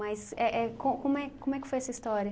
Mas é é co como é como é que foi essa história?